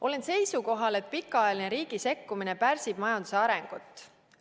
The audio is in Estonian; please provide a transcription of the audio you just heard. Olen seisukohal, et pikaajaline riigi sekkumine pärsib majanduse arengut.